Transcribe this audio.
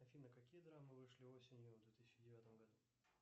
афина какие драмы вышли осенью в две тысячи девятом году